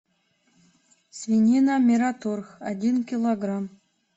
свинина мираторг один килограмм